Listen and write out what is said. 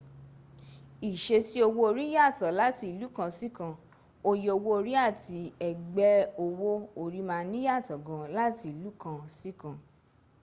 iṣesí owó orí yàtò láti ìlú kan sí kan oye owó orí àti ẹ̀gbẹ́ owó orí ma niyàtọ̀ gaan láti ìlú kan sí kan